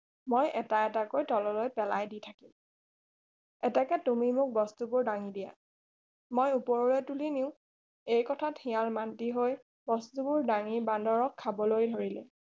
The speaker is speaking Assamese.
মই এটা এটাকৈ পেলাই দি থাকিম এতেকে তুমি মোক বস্তুবোৰ দাঙি দিয়া মই ওপৰলৈ তুলি নিউ এই কথা শিয়াল মান্তি হৈ বস্তুবোৰ দাঙি বান্দৰক খাবলৈ ধৰিলে